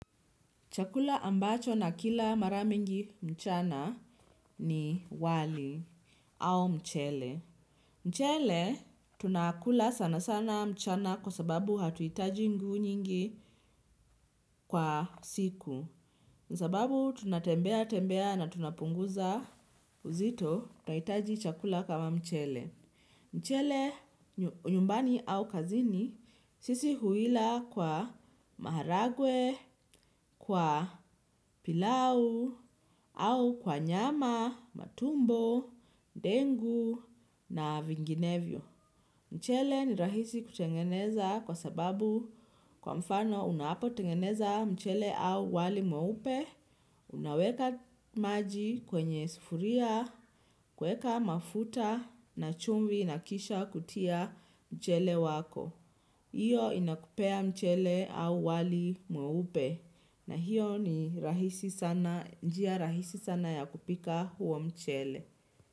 Chakula ambacho na kila maramingi mchana ni wali au mchele. Mchele tunakula sana sana mchana kwa sababu hatuhitaji nguvu nyingi kwa siku. Kwasababu tunatembea tembea na tunapunguza uzito tunahitaji chakula kama mchele. Mchele nyumbani au kazini sisi huila kwa maharagwe, kwa pilau au kwa nyama, matumbo, dengu na vinginevyo. Mchele ni rahisi kutengeneza kwa sababu kwa mfano unapo tengeneza mchele au wali mweupe, unaweka maji kwenye sufuria, kuweka mafuta na chumvi na kisha kutia mchele wako. Hiyo inakupea mchele au wali mweupe na hiyo njia rahisi sana ya kupika huo mchele.